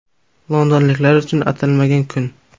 Londonliklar uchun atalmagan kun.